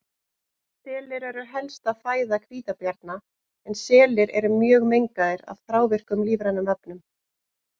Selir eru helsta fæða hvítabjarna en selir eru mjög mengaðir af þrávirkum lífrænum efnum.